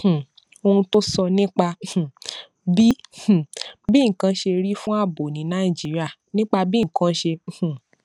um ohun tó sọ nípa um bí um bí nǹkan ṣe rí fún ààbò ní nàìjíríà nípa bí nǹkan ṣe um